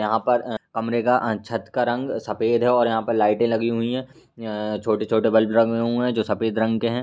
यहां पर अ कमरे का अ छत का रंग सफेद है और यहां पर लाइटे लगी हुई हैं। अअअ छोटी-छोटी बल्ब लगे हुए हैं जो सफेद रंग के हैं।